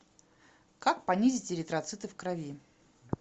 как понизить эритроциты в крови